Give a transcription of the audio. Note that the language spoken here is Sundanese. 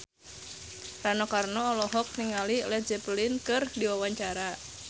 Rano Karno olohok ningali Led Zeppelin keur diwawancara